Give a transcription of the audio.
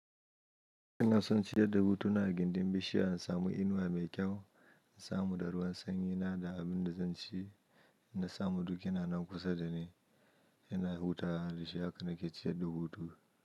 Ina son ciyar da hutu na a gindin bishiya, in samu inuwa mai kyau, in samu daruwan sanyi na da abin da zan ci, in na samu duk yana nan kusa da ni, yana hutawa da shi haka na ke ciyar da hutu.